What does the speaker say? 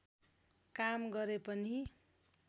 काम गरे पनि